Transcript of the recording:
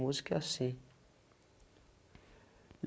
Música é assim. E